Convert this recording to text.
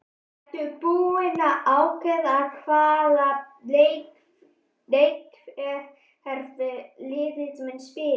Ertu búinn að ákveða hvaða leikkerfi liðið mun spila?